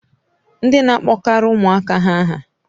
Ndi na-akpọkarị ụmụaka ha aha.